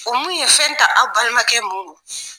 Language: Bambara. O mun ye fɛn ta aw balimakɛ mun non ?